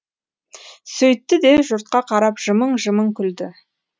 сөйтті де жұртқа қарап жымың жымың күлді